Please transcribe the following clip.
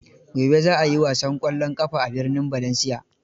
Gobe za a yi wasan ƙwallon ƙafa a birnin Valencia.